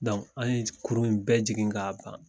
Dɔnku an ye kurun in bɛɛ jigin k'a ban